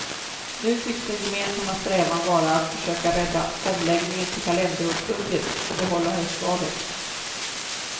Nu tycks den gemensamma strävan vara att försöka rädda omläggningen till kalenderårsbudget och behålla höstvalet.